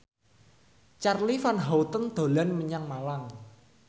Charly Van Houten dolan menyang Malang